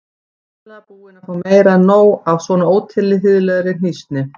Greinilega búin að fá meira en nóg af svona ótilhlýðilegri hnýsni.